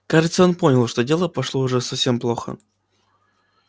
кажется он понял что дело пошло уж совсем плохо